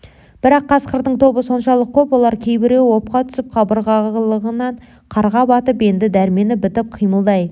бірақ қасқырдың тобы соншалық көп олар кейбіреуі опқа түсіп қабырғалығынан қарға батып енді дәрмені бітіп қимылдай